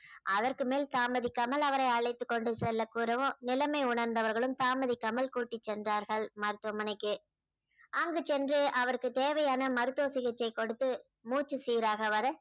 அதற்கு மேல் தாமதிக்காமல் அவரை அழைத்துக் கொண்டு செல்லக் கூறவும் நிலைமை உணர்ந்தவர்களும் தாமதிக்காமல் கூட்டிச் சென்றார்கள் மருத்துவமனைக்கு அங்கு சென்று அவருக்கு தேவையான மருத்துவ சிகிச்சை கொடுத்து மூச்சு சீராக வர